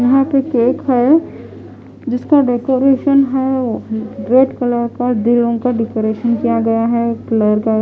यहाँ पे केक है जिसका डेकरैशन है ओ रेड कलर का दिलों का डेकरैशन किया गया है कलर --